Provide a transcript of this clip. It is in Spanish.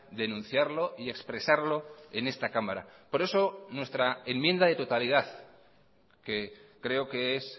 denunciarlo y expresarlo en esta cámara por eso nuestra enmienda de totalidad que creo que es